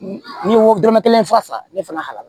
N'i ye wo dɔrɔmɛ kelen fa ne fana la